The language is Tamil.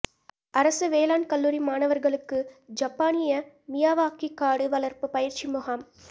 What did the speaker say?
அரசு வேளாண் கல்லூரி மாணவர்களுக்கு ஜப்பானிய மியாவாக்கி காடு வளர்ப்பு பயிற்சி முகாம்